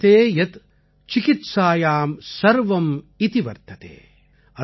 வர்த்ததே யத் சிகித்சாயாம் சர்வம் இதி வர்த்ததே